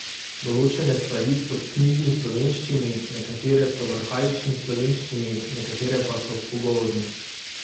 Določene stvari so v knjižni slovenščini, nekatere so v arhaični slovenščini, nekatere pa so v pogovorni.